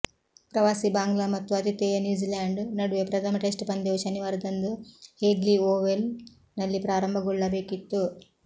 ಪ್ರವಾಸಿ ಬಾಂಗ್ಲಾ ಮತ್ತು ಆತಿಥೇಯ ನ್ಯೂಝಿಲ್ಯಾಂಡ್ ನಡುವೆ ಪ್ರಥಮ ಟೆಸ್ಟ್ ಪಂದ್ಯವು ಶನಿವಾರದಂದು ಹೇಗ್ಲೀ ಓವಲ್ ನಲ್ಲಿ ಪ್ರಾರಭಗೊಳ್ಳಬೇಕಿತ್ತು